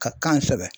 Ka kan kosɛbɛ